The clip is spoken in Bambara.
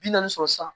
Bi naani sɔrɔ sisan